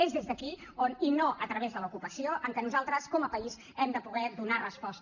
és des d’aquí i no a través de l’ocupació que nosaltres com a país hi hem de poder donar resposta